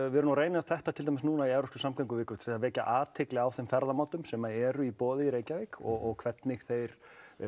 við erum að reyna þetta núna í evrópskri samgönguviku til að vekja athygli á þeim ferðamátum sem eru í boði í Reykjavík og hvernig þeir